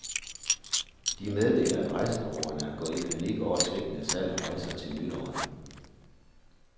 De meddeler, at rejsebureauerne er gået i panik over svigtende salg af rejser til nytåret.